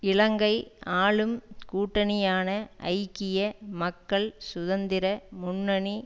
இலங்கை ஆளும் கூட்டணியான ஐக்கிய மக்கள் சுதந்திர முன்னணி